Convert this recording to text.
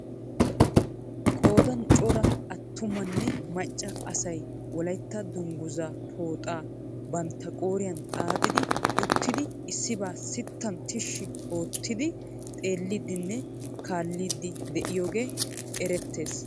Qoodaan cora atumanne macca asay wolaytta dunguzaa pooxxaa bantta qooriyaan xaaxidi uttidi issibaa sitan tishi ottidi xeellidinne kaallid8 de'iyoogee erettes.